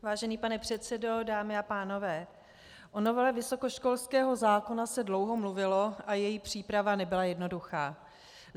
Vážený pane předsedo, dámy a pánové, o novele vysokoškolského zákona se dlouho mluvilo a její příprava nebyla jednoduchá.